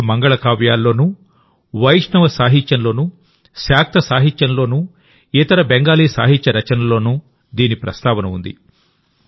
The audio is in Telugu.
వివిధ మంగళకావ్యాల్లోనూవైష్ణవ సాహిత్యంలోనూశాక్త సాహిత్యంలోనూ ఇతర బెంగాలీ సాహిత్య రచనల్లోనూ దీని ప్రస్తావన ఉంది